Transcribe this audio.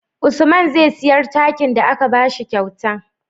Usman zai siyar takin da aka bashi kyauta